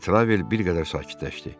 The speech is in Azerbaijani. Detravel bir qədər sakitləşdi.